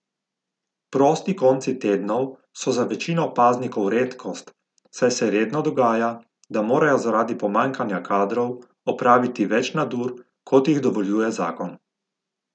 Prosti konci tednov so za večino paznikov redkost, saj se redno dogaja, da morajo zaradi pomanjkanja kadrov opraviti več nadur, kot jih dovoljuje zakon.